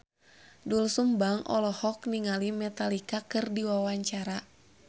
Doel Sumbang olohok ningali Metallica keur diwawancara